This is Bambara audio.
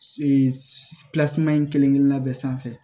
in kelen-kelenna bɛɛ sanfɛ